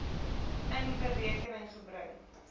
in berekening gebring